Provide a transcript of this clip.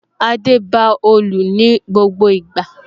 Adé ba òòlù ní gbogbo ìgbà